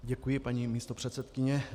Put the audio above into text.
Děkuji, paní místopředsedkyně.